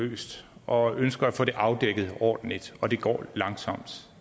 løst og ønsker at få afdækket ordentligt og det går langsomt